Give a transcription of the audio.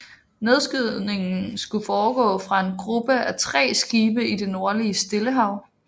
Nedskydningen skulle foregå fra en gruppe af tre skibe i det nordlige Stillehav